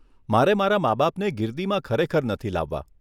મારે મારા માબાપને ગિરદીમાં ખરેખર નથી લાવવા.